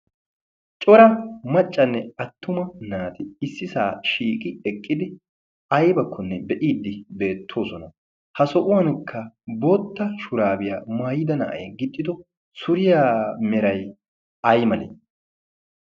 cora maccanne attuma naati issi saa shiiqi eqqidi aybakkonne be'iiddi beettoosona. ha so'uwankka bootta shuraabiyaa maayida na'ay gixxido suriyaa meray ay malee?